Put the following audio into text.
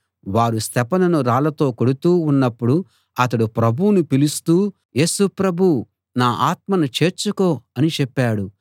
వారు స్తెఫనును రాళ్ళతో కొడుతూ ఉన్నపుడు అతడు ప్రభువును పిలుస్తూ యేసు ప్రభూ నా ఆత్మను చేర్చుకో అని చెప్పాడు